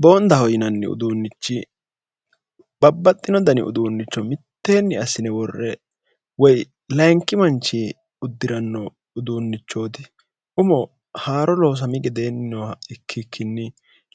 boondaho yinanni uduunnichi babbaxxino dani uduunnicho mitteenni assine worre woy layinki manchi uddiranno uduunnichooti umo haaro loosami gedeenni nooha ikkikkinni